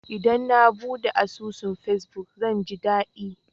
Idan na buɗe asusun fesbuk, zan ji daɗi.